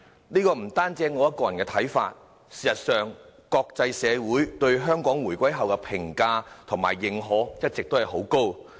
這不單是我個人的看法，事實上，國際社會對香港回歸後的評價和認可一直很高。